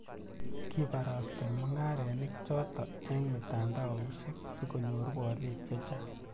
kibarastei mung'arenik choto eng' mitandaosiek , sikunyoru oliik che chang'